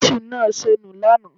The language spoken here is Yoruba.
Ṣíṣù naa sọ nu lànà